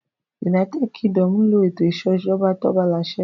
United Kingdom n lo ètò ìṣèjọba tobalàṣẹ